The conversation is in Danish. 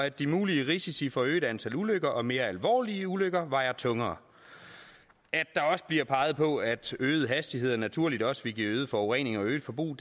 at de mulige risici for et øget antal ulykker og mere alvorlige ulykker vejer tungere at der også bliver peget på at øgede hastigheder naturligt også vil give øget forurening og øget forbrug